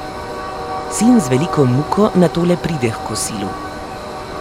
Sin z veliko muko nato le pride h kosilu.